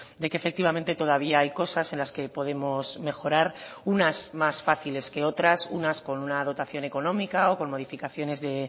de que efectivamente todavía hay cosas en las que podemos mejorar unas más fáciles que otras unas con una dotación económica o con modificaciones de